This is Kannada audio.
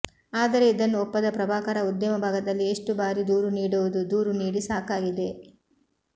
ಆದರೆ ಇದನ್ನು ಒಪ್ಪದ ಪ್ರಭಾಕರ ಉದ್ಯಮಭಾಗದಲ್ಲಿ ಎಷ್ಟು ಬಾರಿ ದೂರು ನೀಡುವುದು ದೂರು ನೀಡಿ ಸಾಕಾಗಿದೆ